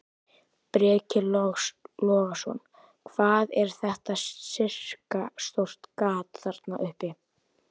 Breki Logason: Hvað er þetta sirka stórt gat þarna uppi?